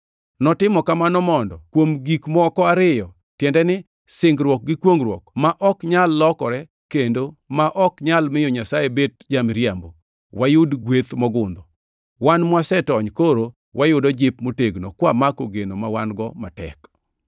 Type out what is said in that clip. Notimo kamano mondo, kuom gik moko ariyo, tiende ni singruok gi kwongʼruok, ma ok nyal lokore kendo ma ok nyal miyo Nyasaye bet ja-miriambo, wayud gweth mogundho, wan mwasetony koro wayudo jip motegno kwamako geno ma wan-go matek.